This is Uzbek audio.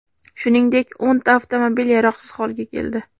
Shuningdek, o‘nta avtomobil yaroqsiz holga keldi.